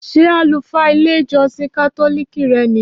Ṣé àlùfáà ilé ìjósìn kátólìkì re ní yi?